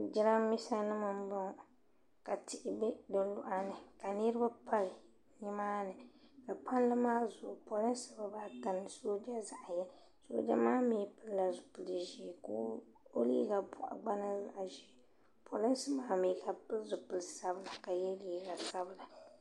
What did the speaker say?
Jiranbiisa nim n bɔŋo ka tihi bɛ di maa ni ka niriba pali ni maa ni ka palli maa zuɣu polinsi gba zaa bɛni ni sooja zaɣa yini sooja maa mi pili la zipili ʒee ka o liiga bɔɣu gba niŋ zaɣa ʒee polinsi maa mi ka bi pili zipili sabila ka yɛ liiga sabila.